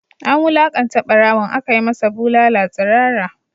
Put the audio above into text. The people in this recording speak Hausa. An wulakanta barawon, aka yi masa bulala tsirara